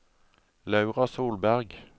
Laura Solberg